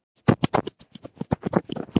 Fíkniefni gerð upptæk